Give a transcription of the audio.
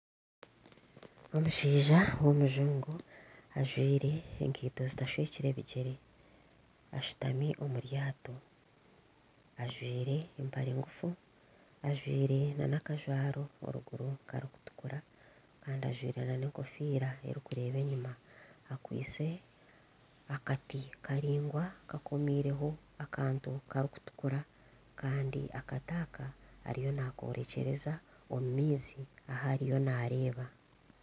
Omushaija w'omujungu ajwire ekaito zitashwekire bigyere ashutami omu ryato ajwire empare ngufu ajwire n'akajwaro eriguru karikutukura kandi ajwire n'enkofiira erikureeba enyima akwitse akati karaingwa kakomiireho akantu karikutukura kandi akati aka ariyo naakorekyereza omu maizi ahu ariyo naareeba